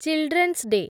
children's day